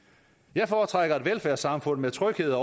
jeg foretrækker et velfærdssamfund med tryghed